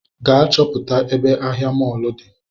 Gaa chọpụta ebe ahịa mọlụ di